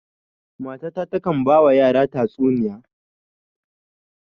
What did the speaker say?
Mata ta takan ba wa yara na tatsuniya